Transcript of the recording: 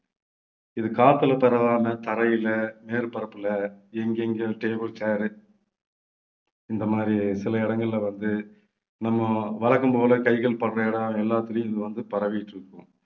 இது காத்துல பரவாம தரையில மேற்பரப்புல எங்கெங்க table chair இந்த மாதிரி சில இடங்கள்ல வந்து நம்ம வழக்கம்போல கைகள் படுற இடம் எல்லாத்துலயும் இது வந்து பரவிட்டு இருக்கும்.